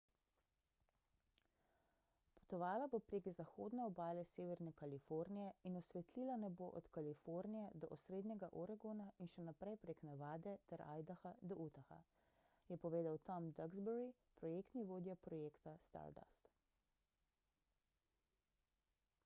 »potovala bo prek zahodne obale severne kalifornije in osvetlila nebo od kalifornije do osrednjega oregona in še naprej prek nevade ter idaha do utaha,« je povedal tom duxbury projektni vodja projekta stardust